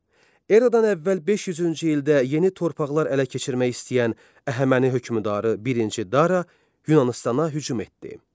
Eradan əvvəl 500-cü ildə yeni torpaqlar ələ keçirmək istəyən Əhəməni hökmdarı birinci Dara Yunanıstana hücum etdi.